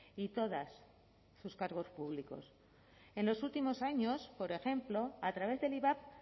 y todas sus cargos públicos en los últimos años por ejemplo a través del ivap